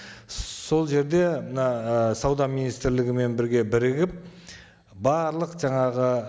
сол жерде мына і сауда министрлігімен бірге бірігіп барлық жаңағы